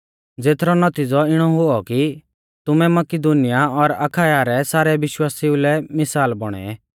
ज़ेथरौ नौतिज़ौ इणौ हुऔ कि तुमै मकिदुनीया और अखाया रै सारै विश्वासिउ लै मिसाल बौणै